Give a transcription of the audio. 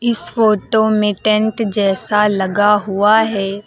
इस फोटो में टेंट जैसा लगा हुआ है।